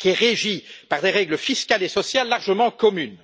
régi par des règles fiscales et sociales largement communes.